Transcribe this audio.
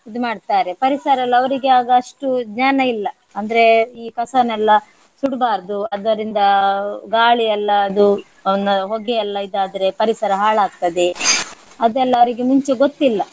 ಇದು ಮಾಡ್ತಾರೆ ಪರಿಸರ ಎಲ್ಲ ಅವರಿಗೆ ಆಗ ಅಷ್ಟು ಜ್ಞಾನ ಇಲ್ಲ. ಅಂದ್ರೆ ಈ ಕಸನ್ನೆಲ್ಲ ಸುಡ್ಬಾರ್ದು ಅದರಿಂದ ಗಾಳಿ ಎಲ್ಲ ಅದು ಒಂದು ಹೊಗೆ ಎಲ್ಲ ಇದಾದ್ರೆ ಪರಿಸರ ಹಾಳಾಗ್ತದೆ ಅದೆಲ್ಲ ಅವರಿಗೆ ಮುಂಚೆ ಗೊತ್ತಿಲ್ಲ.